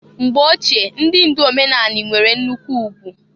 Mgbo ochie ndị ndụ omenanị nwere nnụkwụ ugwu.